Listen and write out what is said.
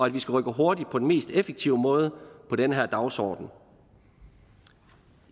at vi skal rykke hurtigt på den mest effektive måde på den her dagsorden